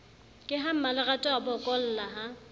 ke ha mmalerato abokolla ha